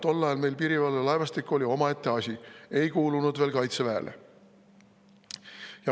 Tol ajal oli meie piirivalvelaevastik omaette asi, see ei kuulunud veel Kaitseväele.